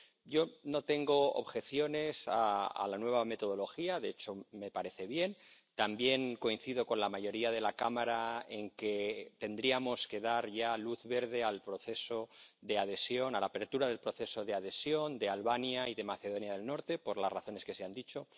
Yo no tengo objeciones con respecto a la nueva metodología, de hecho, me parece bien. También coincido con la mayoría de la Cámara en que tendríamos que dar ya luz verde al proceso de adhesión, a la apertura del proceso de adhesión de Albania y de Macedonia del Norte, por las razones que se han dicho.